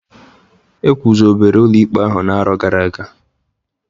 Egwuzobere ụlọ ikpe ahụ n'arọ gara aga.